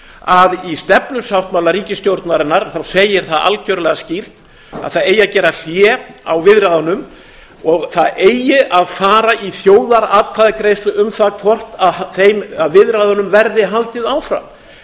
að í stefnusáttmála ríkisstjórnarinnar segir það algjörlega skýrt að það eigi að gera hlé á viðræðunum og það eigi að fara í þjóðaratkvæðagreiðslu um það hvort viðræðunum verði haldið áfram